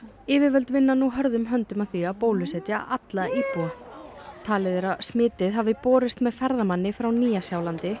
yfirvöld vinna nú hörðum höndum að því að bólusetja alla íbúa talið er að smitið hafa borist með ferðamanni frá Nýja Sjálandi